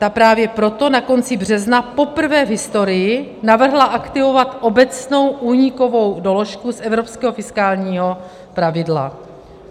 Ta právě proto na konci března poprvé v historii navrhla aktivovat obecnou únikovou doložku z evropského fiskálního pravidla.